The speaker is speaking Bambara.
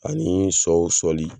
Anii sow sɔli